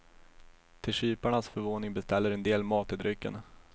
Till kyparnas förvåning beställer en del mat till drycken.